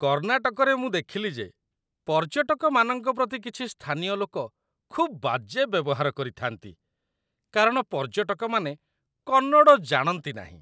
କର୍ଣ୍ଣାଟକରେ ମୁଁ ଦେଖିଲି ଯେ ପର୍ଯ୍ୟଟକମାନଙ୍କ ପ୍ରତି କିଛି ସ୍ଥାନୀୟ ଲୋକ ଖୁବ୍ ବାଜେ ବ୍ୟବହାର କରିଥାନ୍ତି କାରଣ ପର୍ଯ୍ୟଟକମାନେ କନ୍ନଡ଼ ଜାଣନ୍ତି ନାହିଁ।